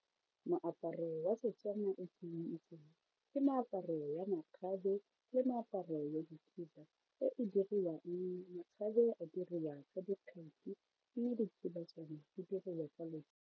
Moaparo wa Setswana o ke o itseng ke meaparo ya makgabe le meaparo ya dikhiba e e diriwang makgabe a diriwa ka dikgetsi mme dikhiba tsona di diriwa ka .